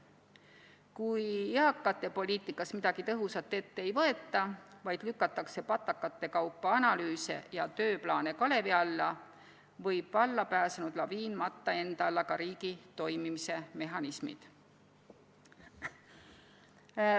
Kui eakatepoliitikas midagi tõhusat ette ei võeta, vaid lükatakse patakate kaupa analüüse ja tööplaane kalevi alla, võib vallapääsenud laviin matta enda alla ka riigi toimimise mehhanismid.